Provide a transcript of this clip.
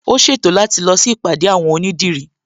Ó ṣètò láti lọ sí ìpàdé àwon onídìrí